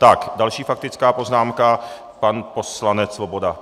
Tak další faktická poznámka, pan poslanec Svoboda.